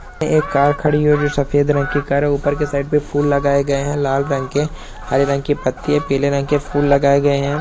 ये एक कार खड़ी है और जो सफ़ेद रंग की कार है। ऊपर की साइड पे फूल लगाए गए हैं लाल रंग के हरे रंग की पत्ती हैं पीले रंग के फूल लगाए गए हैं।